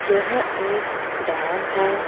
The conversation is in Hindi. यह एक डेम है।